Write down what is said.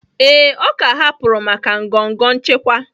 Ee, ọ ka hapụrụ maka ngọngọ nchịkwa